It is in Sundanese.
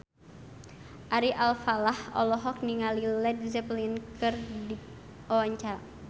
Ari Alfalah olohok ningali Led Zeppelin keur diwawancara